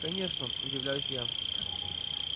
конечно удивляюсь я